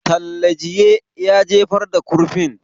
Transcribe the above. Talle jiye ya jefar da kurfin